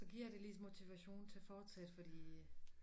Så giver det lidt motivation til at fortsætte fordi